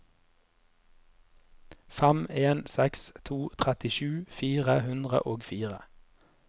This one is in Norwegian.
fem en seks to trettisju fire hundre og fire